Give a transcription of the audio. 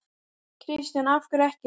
Kristján: Af hverju ekki?